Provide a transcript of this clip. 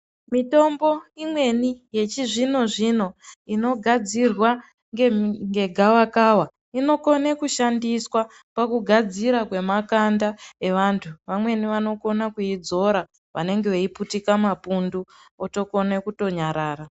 Mitombo imweni yechi zvino zvino ino gadzirwa nge gava kava inokone kushandiswa paku gadzira kwe makanda e vantu vamweni vanokona kuyi dzora vanenge vei putika mapundu otokone kuto nyarara.